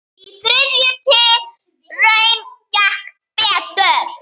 Í þriðju tilraun gekk betur.